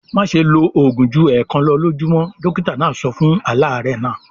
"Má ṣe lo òògùn ju ẹ̀ẹ̀kan lọ lójúmọ́! Dọ́kítá náà sọ fún aláàárẹ̀ náà.